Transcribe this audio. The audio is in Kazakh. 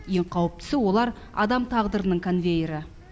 ең қауіптісі олар адам тағдырының конвейері